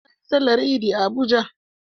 Na yi Sallar Idi a Abuja.